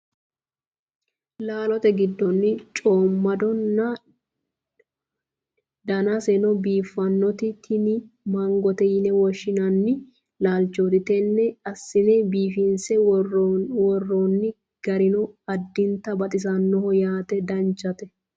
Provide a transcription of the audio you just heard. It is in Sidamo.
laalote giddonni coommadonna danaseno biiffannoti tini mangote yine woshshinanni laalchooti tenne assine biifinse worroonni garino addintanni baxisannoho yaate danchate .